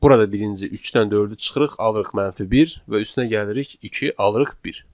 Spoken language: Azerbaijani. Burada birinci 3-dən 4-ü çıxırıq, alırıq -1 və üstünə gəlirik 2, alırıq 1.